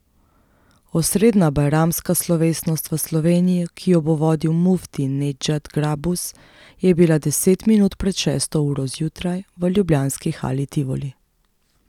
Osrednja bajramska slovesnost v Sloveniji, ki jo bo vodil mufti Nedžad Grabus, je bila deset minut pred šesto uro zjutraj v ljubljanski Hali Tivoli.